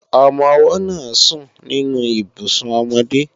Ọmọ-ọwọ́ náà sùn nínú Ibùsùn ọmọdé